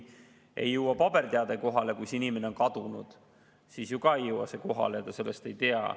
Ja kui inimene on kadunud, siis ju ei jõua ka paberteade kohale, ta sellest ei tea.